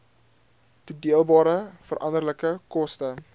toedeelbare veranderlike koste